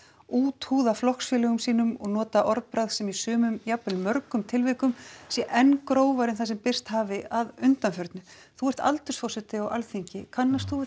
úthúða flokksfélögum sínum og nota orðbragð sem í sumum jafnvel mörgum tilvikum sé enn grófara en það sem birst hafi að undanförnu þú ert aldursforseti á Alþingi kannast þú við